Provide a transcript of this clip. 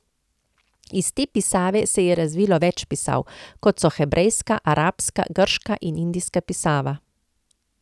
Iz te pisave se je razvilo več pisav, kot so hebrejska, arabska, grška in indijska pisava.